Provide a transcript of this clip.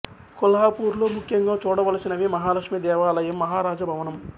కొల్హాపూర్ లో ముఖ్యంగా చూడవలసినవి మహాలక్ష్మి దేవాలయం మహారాజ భవనం